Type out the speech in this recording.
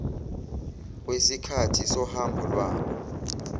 wesikhathi sohambo lwabo